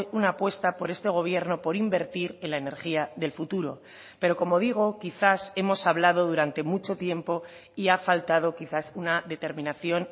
una apuesta por este gobierno por invertir en la energía del futuro pero como digo quizás hemos hablado durante mucho tiempo y ha faltado quizás una determinación